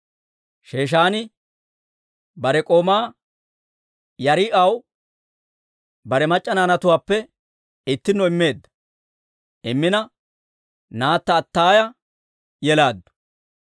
Sheeshaani bare k'oomaa Yaariha'aw bare mac'c'a naanatuwaappe ittinno immina naatta Attaaya yelaaddu.